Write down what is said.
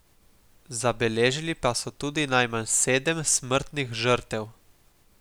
Zabeležili pa so tudi najmanj sedem smrtnih žrtev.